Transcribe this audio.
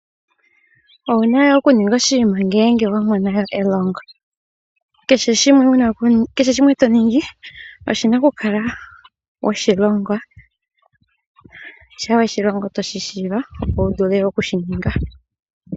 Owuna owala okuninga oshinima ngele wa mona elongo. Kehe shimwe shimwe toningi, oshina okukala weshi longwa, shampa weshi longwa otoshi tseya, opo wu vule okushi ninga.